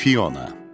Fiona.